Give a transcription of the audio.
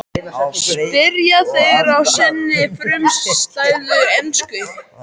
spyrja þeir á sinni frumstæðu ensku.